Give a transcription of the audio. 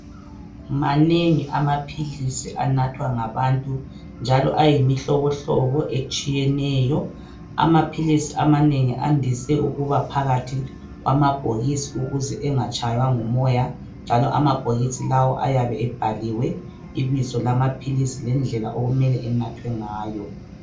Manengi amaphilisi anathwa ngabantu njalo ayimihlobohlobo etshiyeneyo amaphilisi amanengi andise ukuba phakathi kwamabhokisi ukuze engatshaywa ngumoya njalo amabhokisi lawo ayabe ebhaliwe ibizo lamaphilisi lendlela okumele anathwe ngayo.